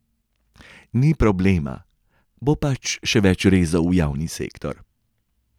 Ni problema, bo pač še več rezov v javni sektor.